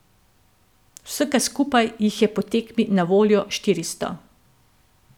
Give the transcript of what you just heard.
Vsega skupaj jih je po tekmi na voljo štiristo.